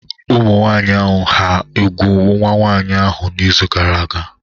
Ụmụnwaanyị hà úgwù nwa nwaanyị ahụ n’izu gara aga?